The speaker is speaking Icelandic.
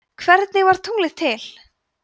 hvernig varð tunglið til